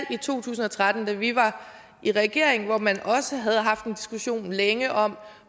i to tusind og tretten da vi var i regering hvor man også havde haft en diskussion længe om